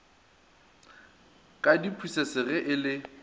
ka diphusese ge e le